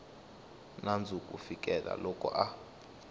nandzu ku fikela loko a